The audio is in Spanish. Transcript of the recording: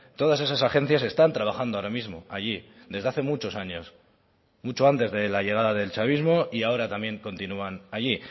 todas esas agencias están trabajando ahora mismo allí desde hace muchos años mucho antes de la llegada del chavismo y ahora también continúan allí